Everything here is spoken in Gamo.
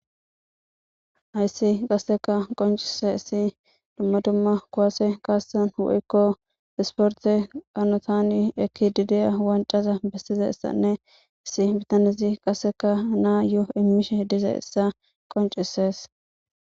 Hayssi qasseka qoncisizaysi dumma dumma kuwase kaasan woyko isporte hanotani ekidi de'iya wancaza ekkizaysanne issi bitanezi qasse na'ayo immishe dizaysa qoncisees.